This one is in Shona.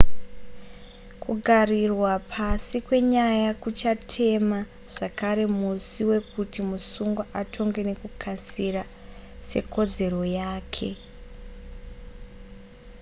kugarirwa pasi kwenyaya kuchatema zvakare musi wekuti musungwa atongwe nekukasira sekodzero yake